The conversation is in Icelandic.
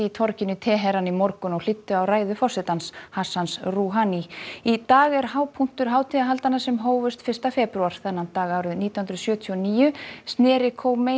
torginu í Teheran í morgun og hlýddu á ræðu forsetans Hassans Rouhani í dag er hápunktur hátíðahaldanna sem hófust fyrsta febrúar þennan dag árið nítján hundruð sjötíu og níu snéri